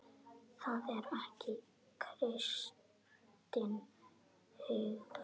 Það er ekki kristin hugsun.